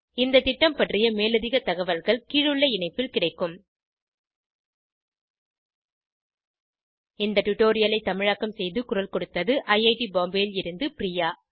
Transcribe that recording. இந்த திட்டம் பற்றிய மேலதிக தகவல்கள் கீழுள்ள இணைப்பில் கிடைக்கும் இந்த டுடோரியலை தமிழாக்கம் செய்து குரல் கொடுத்தது ஐஐடி பாம்பேவில் இருந்து பிரியா